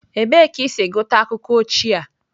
Ebee ka i si gụta akụkọ ochie a?